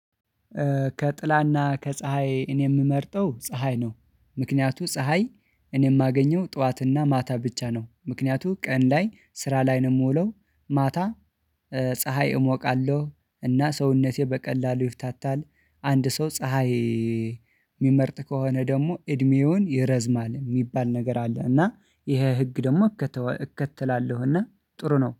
ከጥላና ከፀሀይ እኔ የምመርጠው ፀሀይ ነው። ምክንያቱም ፀሀይ እኔ የማገኘው ጠዋትና ማታ ብቻ ነው። ምክንያቱም ቀን ላይ ስራ ላይ ነው የምውለው። ማታ ፀሀይ እሞቃለሁ እና ሰውነቴ በቀላሉ ይፍታታል። አንድ ሰው ፀሀይ የሚመርጥ ከሆነ ደግሞ እድሜውን ይረዝማል የሚባል ነገር አለ። እና ይሄን ህግ ደግሞ እከተላለሁና ጥሩ ነው